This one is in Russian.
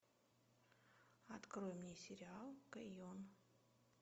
открой мне сериал кэйон